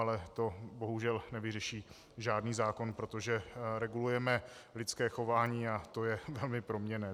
Ale to bohužel nevyřeší žádný zákon, protože regulujeme lidské chování a to je velmi proměnné.